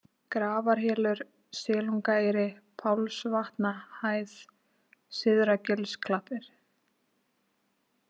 Grafarhylur, Silungaeyri, Pálsvatnahæð, Syðra-Gilsklappir